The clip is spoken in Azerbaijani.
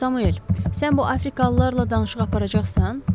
Samuel, sən bu Afrikalılarla danışıq aparacaqsan?